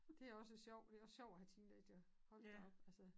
Det også sjov det også sjovt at have teenagere hold da op altså